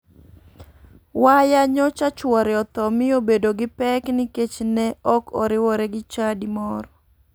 Waya nyocha chuore otho mi obedo gi pek nikech ne ok oriwore gi chadi moro.